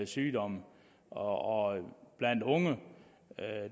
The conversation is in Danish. sygdomme og blandt unge